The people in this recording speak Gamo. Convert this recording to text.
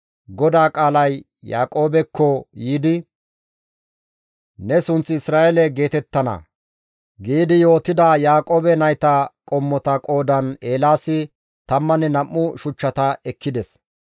GODAA qaalay Yaaqoobekko yiidi, «Ne sunththi Isra7eele geetettana» giidi yootida Yaaqoobe nayta qommota qoodan Eelaasi tammanne nam7u shuchchata ekkides.